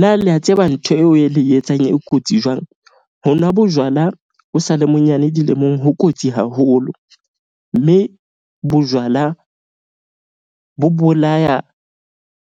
Na lea tseba ntho eo e le etsang e kotsi jwang? Ho nwa bojwala o sale monyane dilemong ho kotsi haholo mme bojwala bo bolaya